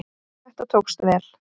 Þetta tókst vel.